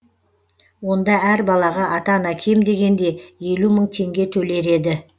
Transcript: онда әр балаға ата ана кем дегенде елу мың теңге төлер еді